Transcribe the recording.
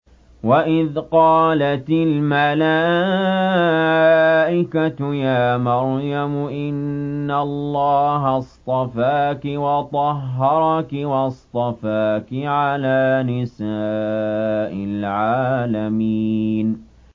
وَإِذْ قَالَتِ الْمَلَائِكَةُ يَا مَرْيَمُ إِنَّ اللَّهَ اصْطَفَاكِ وَطَهَّرَكِ وَاصْطَفَاكِ عَلَىٰ نِسَاءِ الْعَالَمِينَ